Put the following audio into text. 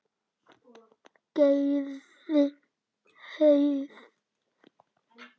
Gerði hvað?